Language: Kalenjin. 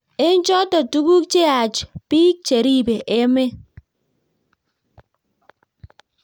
eng choto tuguk cheyach biik cheribe emet